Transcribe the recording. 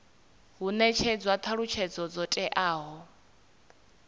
hu netshedzwa thalutshedzo dzo teaho